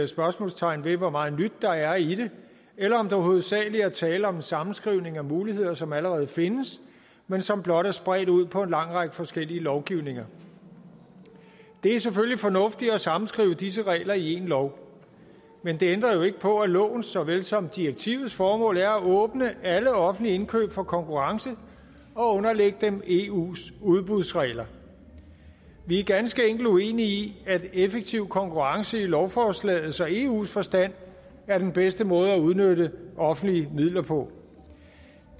spørgsmålstegn ved hvor meget nyt der er i det eller om der hovedsagelig er tale om en sammenskrivning af muligheder som allerede findes men som blot er spredt ud på en lang række forskellige lovgivninger det er selvfølgelig fornuftigt at sammenskrive disse regler i én lov men det ændrer jo ikke på at loven såvel som direktivets formål er at åbne alle offentlige indkøb for konkurrence og underlægge dem eus udbudsregler vi er ganske enkelt uenige i at effektiv konkurrence i lovforslagets og eus forstand er den bedste måde at udnytte offentlige midler på